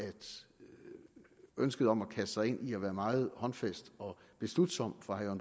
ønsket om at kaste sig ind i at være meget håndfast og beslutsom fra herre